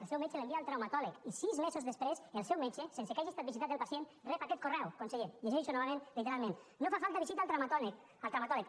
el seu metge l’envia al traumatòleg i sis mesos després el seu metge sense que hagi estat visitat el pacient rep aquest correu conseller llegeixo novament literalment no fa falta visita al traumatòleg